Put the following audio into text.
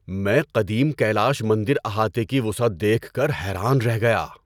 میں قدیم کیلاش مندر احاطے کی وسعت دیکھ کر حیران رہ گیا!